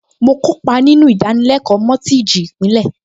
Mo kópa nínú ìdánilẹ́kọ̀ọ́ mọ́tíìjì ìpìlẹ̀